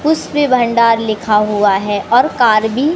पुष्पी भंडार लिखा हुआ है और कार भी--